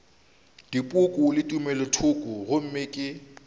dipoko le tumelothoko gomme ke